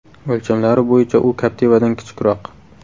O‘lchamlari bo‘yicha u Captiva’dan kichikroq .